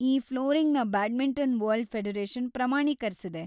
ಈ ಫ್ಲೋರಿಂಗ್‌ನ badminton world federation ಪ್ರಮಾಣೀಕರ್ಸಿದೆ.